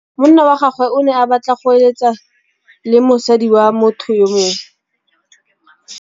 Monna wa gagwe o ne a batla go êlêtsa le mosadi wa motho yo mongwe.